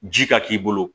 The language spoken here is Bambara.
Ji ka k'i bolo